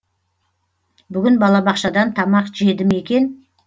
бүгін балабақшадан тамақ жеді ме екен